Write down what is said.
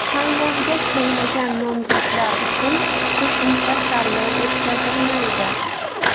Tanlovga kelmagan nomzodlar uchun qo‘shimcha tanlov o‘tkazilmaydi.